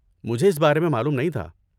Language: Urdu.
مجھے اس بارے میں معلوم نہیں تھا۔